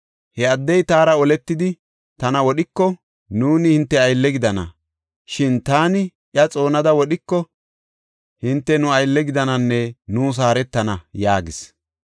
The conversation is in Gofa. He addey taara oletidi tana wodhiko, nuuni hinte aylle gidana; shin taani iya xoonada wodhiko hinte nu aylle gidananne nuus haaretana” yaagis.